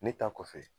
Ne ta kɔfɛ